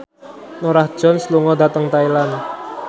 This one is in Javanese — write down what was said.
Norah Jones lunga dhateng Thailand